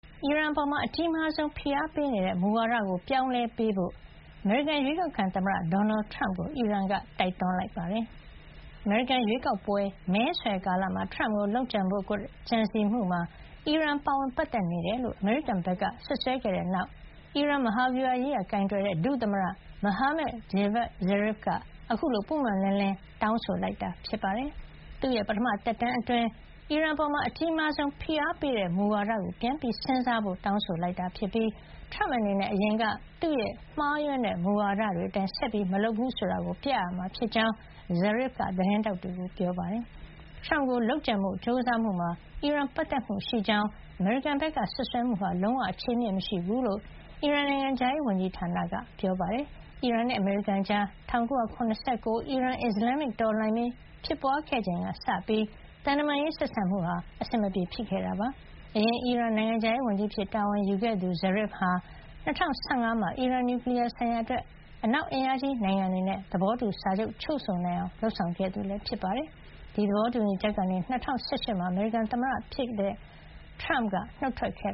အီရန်အပေါ် အကြီးမားဆုံး ဖိအားပေးနေတဲ့ မူဝါဒကို ပြောင်းလဲပေးဖို့ အမေရိကန် အရွေးကောက်ခံ သမ္မတ ဒေါ်နယ်ထရမ့်ကို အီရန်က တိုက်တွန်းလိုက်ပါတယ်။ အမေရိကန်ရွေးကောက်ပွဲ မဲဆွယ်ကာလမှာ ထရမ့်ကို လုပ်ကြံဖို့ ကြံစည်မှုမှာ အီရန်ပါဝင် ပတ်သက်နေကြာင်း အမေရိကန်က စွပ်စွဲခဲ့တဲ့နောက်မှာ အီရန် မဟာဗျူဟာရေးရာ ကိုင်တွယ်တဲ့ ဒုသမ္မတ Mohammad Javad Zarif က အခုလို ပွင့်ပွင့်လင်းလင်း တောင်းဆိုလိုက်တာ ဖြစ်ပါတယ်။ သူ့ရဲ့ ပထမသက်တမ်းအတွင်း အီရန်အပေါ် အကြီးမားဆုံး ဖိအားပေးတဲ့ မူဝါဒကို ပြန်စဉ်းစားဖို့ တောင်းဆိုလိုက်တာ ဖြစ်ပြီး ထရမ့်အနေနဲ့ အရင်က သူ့ရဲ့ မှားယွင်းတဲ့ မူဝါဒတွေအတိုင်း ဆက်မလုပ်ဘူးဆိုတာကို ပြရမှာဖြစ်ကြောင်း Zarif က သတင်းထောက်တွေကို ပြောပါတယ်။ ထရမ့်ကို လုပ်ကြံဖို့ ကြိုးစားမှုမှာ အီရန်ပတ်သက်မှုရှိကြောင်း အမေရိကန်ဘက်က စွပ်စွဲမှုဟာ လုံးဝ အခြေအမြစ်မရှိဘူးလို့ အီရန်နိုင်ငံခြားရေးဝန်ကြီးဌာနက ပြောပါတယ်။ အီရန်နဲ့ အမေရိကန်ကြား ၁၉၇၉ အီရန်-အစ္စလန်မစ် တော်လှန်ရေး ဖြစ်ပွါးချိန်ကစပြီး သံတမန်ရေး ဆက်ဆံမှု အဆင်မပြေဖြစ်ခဲ့တာပါ။ အရင်က အီရန်နိုင်ငံခြားရေးဝန်ကြီး အဖြစ်တာဝန်ယူခဲ့သူ Zarif ဟာ ၂၀၁၅ မှာ အီရန် နျူကလီယားဆိုင်ရာအတွက် အနောက်အင်အားကြီးနိုင်ငံတွေနဲ့ သဘောတူစာချုပ် ချုပ်ဆိုနိုင်အောင် လုပ်ဆောင်ခဲ့သူ ဖြစ်ပါတယ်။ အဲဒီ သဘောတူညီချက်ကနေ ၂၀၁၈ မှာ အမေရိကန်သမ္မတ ထရမ့်လက်ထက်က နှုတ်ထွက်ခဲ့